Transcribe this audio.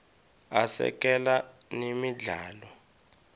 asekela nemidlalo